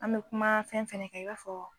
An bɛ kuma fɛn fana kn i b'a fɔ